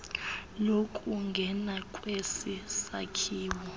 lokungena kwesi sakhiwo